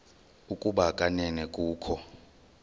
ukuba kanene kukho